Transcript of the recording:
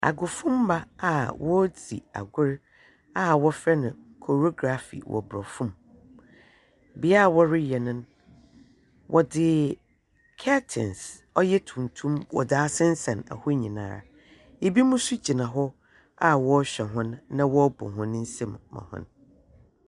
Agofomma a wɔredzi agor a wɔfrɛ korography wɔ Borɔfo mu. Bea a wɔreyɛ no no, wɔdze kɛtens ɔyɛ tuntum wɔdze asensɛn hɔ nnyinaa. Ebinom nso gyina hɔ a wɔrehwɛ wɔn na wɔrebɔ hɔn nsam ma hɔn.